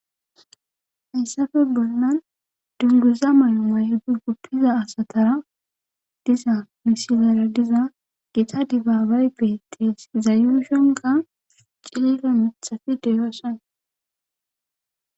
hayssafe bollan dunguza may7omaydi guppiza asatara diza misilera diza gita dibaabay beetees izayushonka cilila mithati deyoossoona